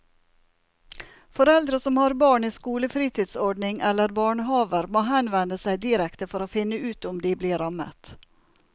Foreldre som har barn i skolefritidsordning eller barnehaver må henvende seg direkte for å finne ut om de blir rammet.